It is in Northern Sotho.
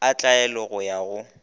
a tlwaelo go ya go